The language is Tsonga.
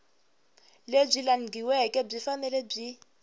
lebyi langhiweke byi fanele byi